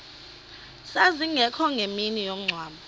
zazingekho ngemini yomngcwabo